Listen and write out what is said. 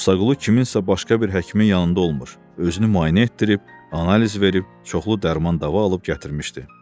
Musaqulu kimsə başqa bir həkimin yanında olmur, özünü müayinə etdirib, analiz verib, çoxlu dərman-dəva alıb gətirmişdi.